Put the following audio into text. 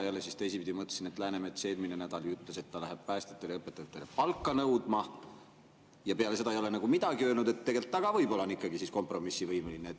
Teisipidi jälle mõtlesin, et Läänemets eelmisel nädalal ju ütles, et ta läheb päästjatele ja õpetajatele palka nõudma, ehkki peale seda ei ole ta enam midagi öelnud, aga tegelikult ta võib-olla ikkagi on kompromissivõimeline.